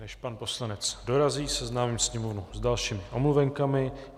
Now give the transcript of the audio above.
Než pan poslanec dorazí, seznámím sněmovnu s dalšími omluvenkami.